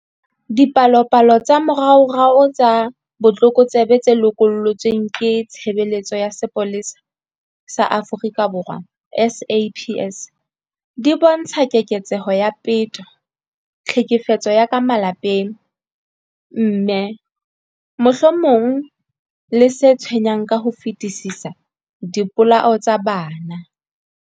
Dipalopalo tsa moraorao tsa botlokotsebe tse lokollotsweng ke Tshebeletso ya Sepolesa sa Afrika Borwa, SAPS, di bontsha keketseho ya peto, tlhekefetso ya ka malapeng, mme, mohlomong le se tshwenyang ka ho fetisisa, dipolao tsa bana.